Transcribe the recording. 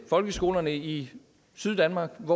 folkeskolerne i syddanmark